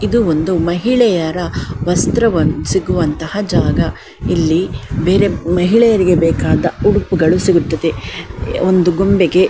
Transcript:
ಇದು ಒಂದು ಮಹಿಳೆಯರ ವಸ್ತ್ರ ಸಿಗುವಂಥಹ ಜಾಗ ಇಲ್ಲಿ ಮಹಿಳೆಯರಿಗೆ ಬೇಕಾದ ಉಡುಪುಗಳು ಸಿಗುತ್ತದೆ ಒಂದು ಗೊಂಬೆಗೆ --